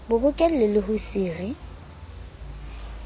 bo bokellwe le ho sire